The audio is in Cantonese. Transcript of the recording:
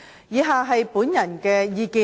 以下是我的個人意見。